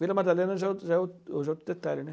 Vila Madalena já é outro já é outro já é outro detalhe, né.